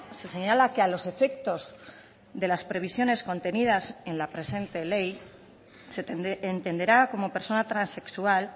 se señala que a los efectos de las previsiones contenidas en la presente ley se entenderá como persona transexual